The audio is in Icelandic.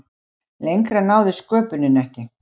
Lengra náði sköpunin ekki.